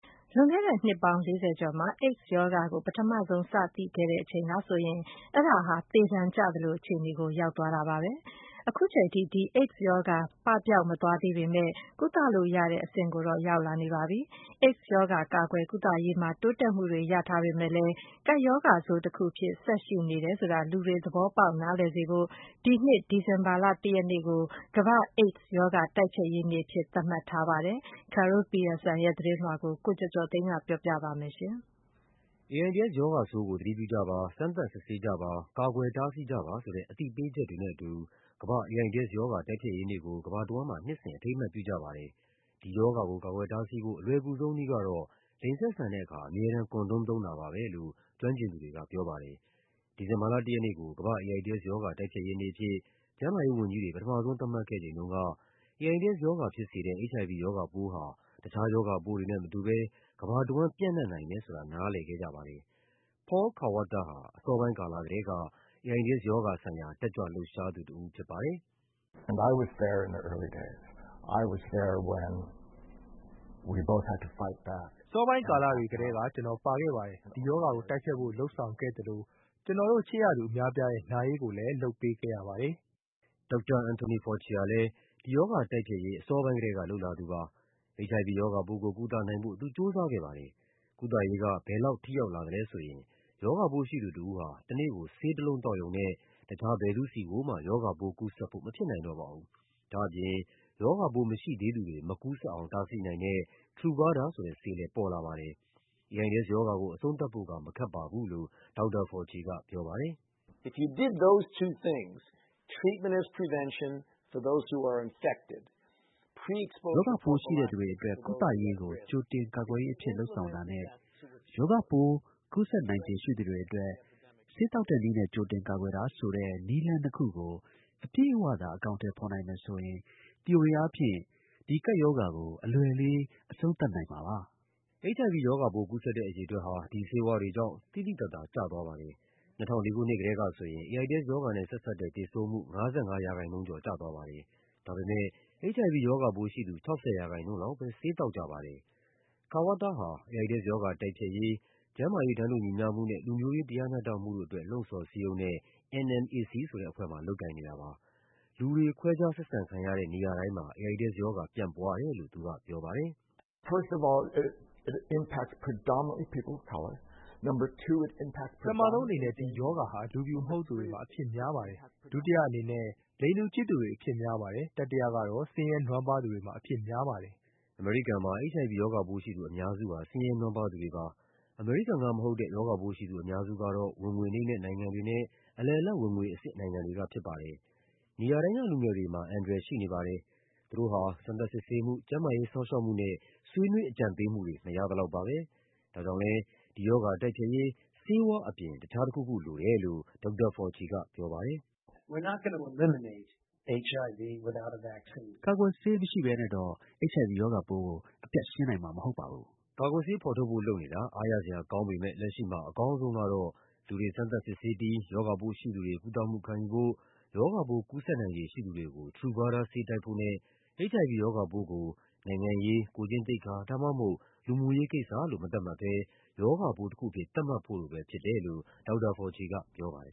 လွန်ခဲ့တဲ့ နှစ်ပေါင်း ၄၀ ကျော်မှာ AIDS ရောဂါကို ပထမဆုံး စသိခဲ့ချိန်ကဆိုရင် အဲဒါဟာ သေဒဏ်ကျသလို အခြေအနေ ရောက်သွားတာပါပဲ။ အခုချိန်ထိ ဒီ AIDS ရောဂါ ပပျောက်မသွားသေးပေမယ့် ကုသလို့ရတဲ့ အဆင့်ကိုတော့ ရောက်လာပါပြီ။ AIDS ရောဂါ ကာကွယ်ကုသရေးမှာ တိုးတက်မှုတွေ ရထားပေမယ့်လည်း ကပ်ရောဂါဆိုးတခုအဖြစ် ဆက်ရှိနေတယ်ဆိုတာ လူတွေ သဘောပေါက် နားလည်စေဖို့ နှစ်စဉ် ဒီဇင်ဘာလ ၁ ရက်နေ့ကို ကမ္ဘာ့ AIDS ရောဂါ တိုက်ဖျက်ရေးနေ့အဖြစ် သတ်မှတ်ထားပါတယ်။ Carol Pearson ရဲ့ သတင်းလွှာကို ကိုကျော်ကျော်သိန်းက တင်ပြပေးထားပါတယ်။ AIDS ရောဂါဆိုးကို သတိပြုကြပါ၊ စမ်းသပ်စစ်ဆေးကြပါ၊ ကာကွယ်တားဆီးကြပါဆိုတဲ့ အသိပေးချက်တွေနဲ့အတူ ကမ္ဘာ့ AIDS ရောဂါ တိုက်ဖျက်ရေးနေ့ကို ကမ္ဘာတဝန်းမှာ နှစ်စဉ် အထိမ်းအမှတ် ပြုကြပါတယ်။ ဒီရောဂါကို ကာကွယ်တားဆီးဖို့ အလွယ်ကူဆုံးနည်းကတော့ လိင်ဆက်ဆံတဲ့အခါ အမြဲတမ်း condom သုံးတာပါပဲလို့ ကျွမ်းကျင်သူတွေက ပြောပါတယ်။ ဒီဇင်ဘာလ ၁ ရက်နေ့ကို ကမ္ဘာ့ AIDS ရောဂါ တိုက်ဖျက်ရေးနေ့အဖြစ် ကျန်းမာရေးဝန်ကြီးတွေ ပထမဆုံး သတ်မှတ်ခဲ့ချိန်တုန်းက AIDS ရောဂါဖြစ်စေတဲ့ HIV ရောဂါပိုးဟာ တခြားရောဂါပိုးတွေနဲ့မတူဘဲ ကမ္ဘာတဝန်း ပျံ့နှံ့နိုင်တယ်ဆိုတာ နားလည်ခဲ့ကြပါတယ်။ Paul Kawata ဟာ အစောပိုင်းကာလကတည်းက AIDS ရောဂါဆိုင်ရာ တက်ကြွလှုပ်ရှားသူတဦး ဖြစ်ပါတယ်။ “အစောပိုင်းကာလတွေကတည်းက ကျနော်ပါခဲ့ပါတယ်။ ဒီရောဂါကိုတိုက်ဖျက်ဖို့ လုပ်ဆောင်ခဲ့သလို ကျနော်တို့ ချစ်ရသူ အများအပြားရဲ့ နာရေးကိုလည်း လုပ်ပေးခဲ့ရပါတယ်။” Dr. Anthony Fauci ဟာလည်း ဒီရောဂါတိုက်ဖျက်ရေး အစောပိုင်းကတည်းက လုပ်လာသူပါ။ HIV ရောဂါပိုးကို ကုသနိုင်ဖို့ သူ ကြိုးစားခဲ့ပါတယ်။ ကုသရေးက ဘယ်လောက်ထိရောက်လာသလဲဆိုရင် ရောဂါပိုးရှိသူတဦးဟာ တနေ့ကို ဆေးတလုံးသောက်ရုံနဲ့ တခြား ဘယ်သူ့ဆီကိုမှ ရောဂါပိုးကူးစက်ဖို့ မဖြစ်နိုင်တော့ပါဘူး။ ဒါ့အပြင် ရောဂါပိုးမရှိသေးသူတွေ မကူးစက်အောင် တားဆီးနိုင်တဲ့ Turvada ဆိုတဲ့ဆေးလည်း ပေါ်လာပါတယ်။ AIDS ရောဂါကို အဆုံးသတ်ဖို့က မခက်ပါဘူးလို့ Dr. Fauci က ပြောပါတယ်။ “ရောဂါပိုးရှိသူတွေအတွက် ကုသရေးကို ကြိုတင်ကာကွယ်ရေးအဖြစ် လုပ်ဆောင်တာနဲ့ ရောဂါပိုး ကူးစက်နိုင်ခြေ ရှိသူတွေအတွက် ဆေးသောက်တဲ့နည်းနဲ့ ကြိုတင်ကာကွယ်တာဆိုတဲ့ နည်းလမ်းနှစ်ခုကို အပြည့်အဝ အကောင်အထည် ဖော်မယ်ဆိုရင် သီအိုရီအားဖြင့် ဒီကပ်ရောဂါကို အလွယ်လေး အဆုံးသတ်နိုင်ပါတယ်။” HIV ရောဂါပိုး ကူးစက်တဲ့ အရေအတွက်ဟာ ဒီဆေးဝါးတွေကြောင့် သိသိသာသာ ကျသွားပါတယ်။ ၂၀၀၄ ခုနှစ်ကတည်းကဆိုရင် AIDS ရောဂါနဲ့ဆက်စပ်တဲ့ သေဆုံးမှုဟာ ၅၅% ကျော် ကျသွားပါတယ်။ ဒါပေမယ့် HIV ရောဂါပိုးရှိသူ ၆၀% လောက်ပဲ ဆေးသောက်ကြပါတယ်။ Kawata ဟာ AIDS ရောဂါတိုက်ဖျက်ရေး ကျန်းမာရေး တန်းတူညီမျှမှုနဲ့ လူမျိုးရေး တရားမျှတမှုတို့အတွက် လှုံ့ဆော်စည်းရုံးတဲ့ NMAC ဆိုတဲ့အဖွဲ့မှာ လုပ်ကိုင်နေပါတယ်။ လူတွေ ခွဲခြားဆက်ဆံခံရတဲ့ နေရာတိုင်းမှာ AIDS ရောဂါ ပြန့်ပွားတယ်လို့ သူက ပြောပါတယ်။ “ပထမဆုံးအနေနဲ့ ဒီရောဂါဟာ လူဖြူမဟုတ်သူတွေမှာ အဖြစ်များပါတယ်။ ဒုတိယအနေနဲ့ လိင်တူချစ်သူတွေ အဖြစ်များပါတယ်။ တတိယကတော့ ဆင်းရဲနွမ်းပါးသူတွေမှာ အဖြစ်များပါတယ်။” အမေရိကန်မှာ HIV ရောဂါပိုးရှိသူ အများစုဟာ ဆင်းရဲနွမ်းပါးသူတွေပါ။ အမေရိကန်ကမဟုတ်တဲ့ ရောဂါပိုးရှိသူ အများစုကတော့ ဝင်ငွေနိမ့်တဲ့ နိုင်ငံတွေနဲ့ အလယ်အလတ် ဝင်ငွေအဆင့် နိုင်ငံတွေက ဖြစ်ပါတယ်။ နေရာတိုင်းက လူငယ်တွေမှာ အန္တရာယ်ရှိပါတယ်။ သူတို့ဟာ စစ်ဆေးစမ်းသပ်မှု၊ ကျန်းမာရေးစောင့်ရှောက်မှုနဲ့ ဆွေးနွေးအကြံပေးမှုတွေ မရသလောက်ပါပဲ။ ဒါကြောင့်လည်း ဒီရောဂါတိုက်ဖျက်ရေး ဆေးဝါးအပြင် တခြားတခုခုလိုတယ်လို့ Dr. Fauci က ပြောပါတယ်။ “ကာကွယ်ဆေးမရှိဘဲနဲ့တော့ HIV ရောဂါပိုးကို အပြတ်ရှင်းနိုင်မှာ မဟုတ်ပါဘူး။” ကာကွယ်ဆေးဖော်ထုတ်ဖို့ လုပ်နေတာ အားရစရာကောင်းပေမယ့် လက်ရှိမှာ အကောင်းဆုံးကတော့ လူတွေ စမ်းသပ်စစ်ဆေးပြီး ရောဂါပိုးရှိသူတွေ ကုသမှုခံယူဖို့၊ ရောဂါပိုး ကူးစက်နိုင်ခြေရှိသူတွေကို Truvada ဆေးတိုက်ဖို့နဲ့ HIV ရောဂါပိုးကို နိုင်ငံရေး၊ ကိုယ်ကျင့်သိက္ခာ ဒါမှမဟုတ် လူမှုရေးကိစ္စလို့ မသတ်မှတ်ဘဲ ရောဂါပိုးတခုအဖြစ် သတ်မှတ်ဖို့တို့ပဲဖြစ်တယ်လို့ Dr. Fauci က ပြောပါတယ်